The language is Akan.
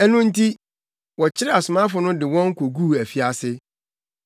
Ɛno nti, wɔkyeree asomafo no de wɔn koguu afiase.